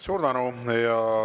Suur tänu!